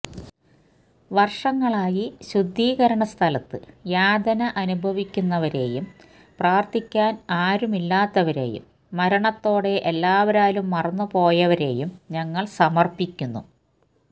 വർഷങ്ങളായി ശുദ്ധീകരണസ്ഥലത്ത് യാതന അനുഭവിക്കുന്നവരെയും പ്രാർത്ഥിക്കാൻ ആരും ഇല്ലാത്തവരെയും മരണത്തോടെ എല്ലാവരാലും മറന്നുപോയവരെയും ഞങ്ങൾ സമർപ്പിക്കുന്നു